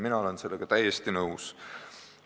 Mina olen sellega täiesti nõus.